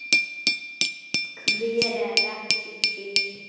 Hver er ekki til?